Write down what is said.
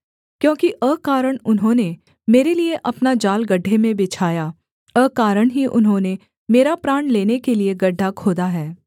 क्योंकि अकारण उन्होंने मेरे लिये अपना जाल गड्ढे में बिछाया अकारण ही उन्होंने मेरा प्राण लेने के लिये गड्ढा खोदा है